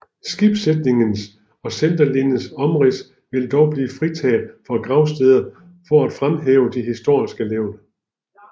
Skibssætningens og centerlinjens omrids vil dog blive fritaget for gravsteder for at fremhæve de historiske levn